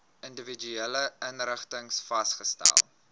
individuele inrigtings vasgestel